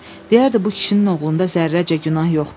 Deyərdi bu kişinin oğlunda zərrəcə günah yoxdur.